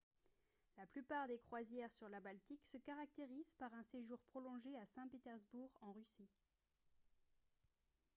la plupart des croisières sur la baltique se caractérisent par un séjour prolongé à saint-pétersbourg en russie